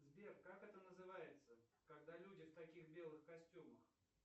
сбер как это называется когда люди в таких белых костюмах